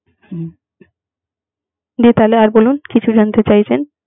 হুম যে তাহলে আর বলুন কিছু জানতে চাইছেন?